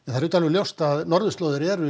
það er ljóst að norðurslóðir eru